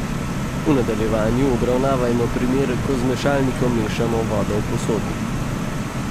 V nadaljevanju obravnavajmo primer, ko z mešalnikom mešamo vodo v posodi.